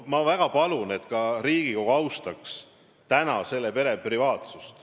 Ma väga palun, et ka Riigikogu austaks selle pere privaatsust.